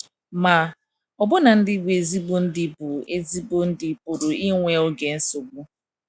Ma, ọbụna ndi bụ ezigbo ndi bụ ezigbo enyi pụrụ inwe oge nsogbu.